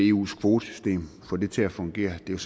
eus kvotesystem til at fungere det er